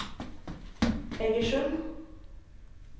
Egersund